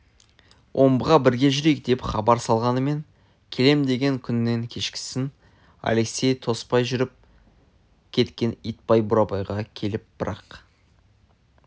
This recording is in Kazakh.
омбыға бірге жүрейік деп хабар салғанмен келем деген күнінен кешіккесін алексей тоспай жүріп кеткенін итбай бурабайға келіп бір-ақ